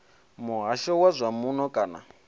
muhasho wa zwa muno kana